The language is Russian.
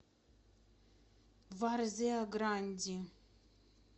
варзеа гранди